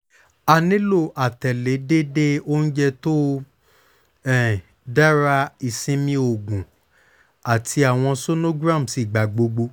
a nilo atẹle deede ounjẹ to um dara isinmi oogun ati awọn sonograms igbagbogbo